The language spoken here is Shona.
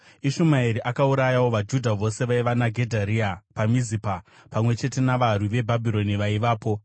Ishumaeri akaurayawo vaJudha vose vaiva naGedharia paMizipa, pamwe chete navarwi veBhabhironi vaivapo.